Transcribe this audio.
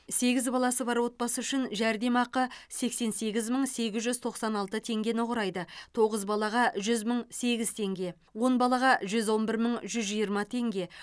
сегіз баласы бар отбасы үшін жәрдемақы сексен сегіз мың сегіз жүз тоқсан алты теңгені құрайды тоғыз балаға жүз мың сегіз теңге он балаға жүз он бір мың жүз жиырма теңге